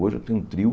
Hoje eu tenho um trio.